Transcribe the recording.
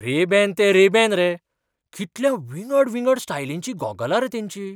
Ray-Ban तें Ray Ban रे. कितल्या विंगड विंगड स्टायलिंचीं गॉगलां रे तेंचीं!